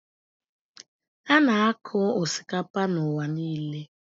A na-akụ osikapa n'ụwa niile.